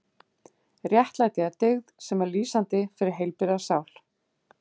Réttlæti er dyggð sem er lýsandi fyrir heilbrigða sál.